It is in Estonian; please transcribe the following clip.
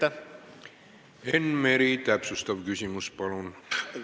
Enn Meri, täpsustav küsimus, palun!